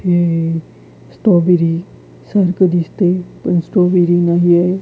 हे स्ट्रॉबेरी सारखं दिसतंय पण स्ट्रॉबेरी नाहीये.